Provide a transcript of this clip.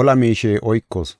ola miishe oykoos.